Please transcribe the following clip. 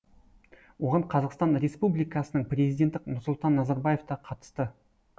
оған қазақстан республикасының президенті нұрсұлтан назарбаев та қатысты